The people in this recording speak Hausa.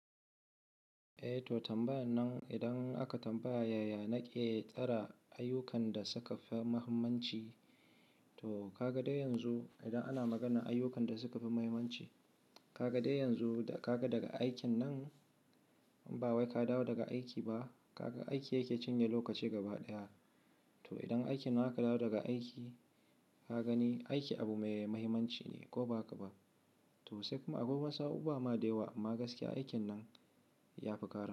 Eh to tambaya nan idan aka tambaya yaya na ke tsara ayyukan da suka fi muhimmanci. To ka ga dai yanzu idan ana magana ayyukan da suka fi muhimmanci, ka ga dai yanzu da ka ga daga aikin nan, ba wai ka dawo daga aiki ba, ka ga aiki yake cinye lokaci gaba ɗaya. To idan aikin aka ka dawo daga aiki, ka gani aiki abu mai muhimmanci ne ko ba ka ba. To sai kuma akwai wasu abubuwa ma dayiwa amma gaskiya aikin nan ya fi ƙara.